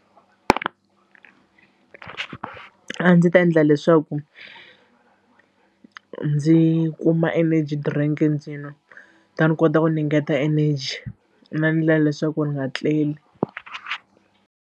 A ndzi ta endla leswaku ndzi kuma energy drink ndzi nwa ta ni kota ku ni ngeta energy na ndlela leswaku ni nga tleli.